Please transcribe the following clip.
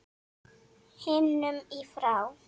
himnum í frá